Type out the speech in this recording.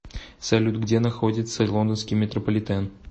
салют где находится лондонский метрополитен